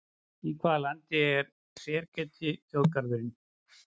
Í hvaða landi er Serengeti þjóðgarðurinn?